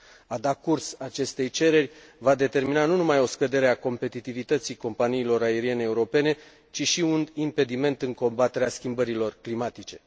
A da curs acestei cereri va determina nu numai o scădere a competitivității companiilor aeriene europene, ci și un impediment în combaterea schimbărilor climatice.